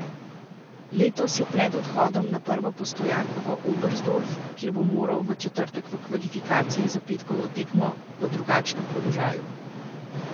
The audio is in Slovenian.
Letos je pred odhodom na prvo postojanko v Oberstdorf, kjer bo moral v četrtek v kvalifikacije za petkovo tekmo, v drugačnem položaju.